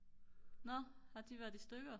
nå har de været i stykker?